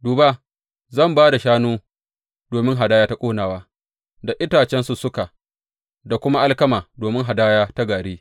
Duba, zan ba da shanu domin hadaya ta ƙonawa, da itacen sussuka, da kuma alkama domin hadaya ta gari.